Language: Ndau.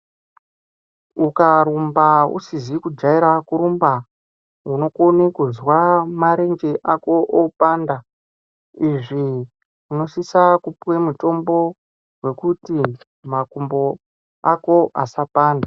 Ukarumba usizi kujaira kurumba unokone kuzwa marenje ako opanda. Izvi unosisa kupuve mutombo vokuti makumbo ako asapanda.